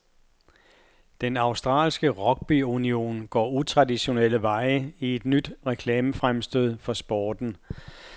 Den australske rugbyunion går utraditionelle veje i et nyt reklamefremstød for sporten.